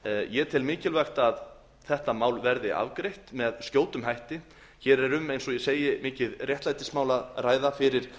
ég tel mikilvægt að þetta mál verði afgreitt með skjótum hætti hér er eins og ég segi um mikið réttlætismál að ræða fyrir